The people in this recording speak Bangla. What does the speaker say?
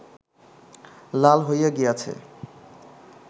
লাল হইয়া গিয়াছে